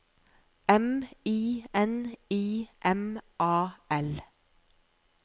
M I N I M A L